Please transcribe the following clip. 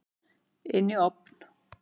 Inn í ofn.